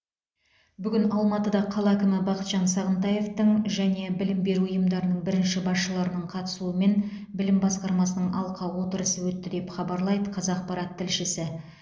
бүгін алматыда қала әкімі бақытжан сағынтаевтың және білім беру ұйымдарының бірінші басшыларының қатысуымен білім басқармасының алқа отырысы өтті деп хабарлайды қазақпарат тілшісі